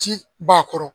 Ci b'a kɔrɔ